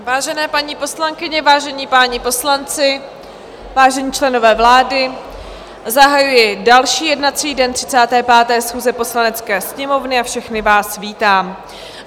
Vážené paní poslankyně, vážení páni poslanci, vážení členové vlády, zahajuji další jednací den 35. schůze Poslanecké sněmovny a všechny vás vítám.